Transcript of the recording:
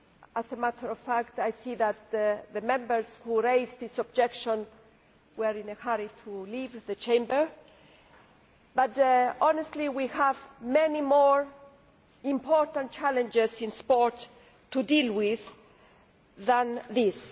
As a matter of fact I see that the Members who raised this objection were in a hurry to leave the Chamber, but honestly we have many more important challenges in sport to deal with than this.